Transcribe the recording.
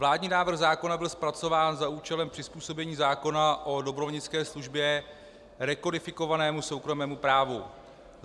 Vládní návrh zákona byl zpracován za účelem přizpůsobení zákona o dobrovolnické službě rekodifikovanému soukromému právu.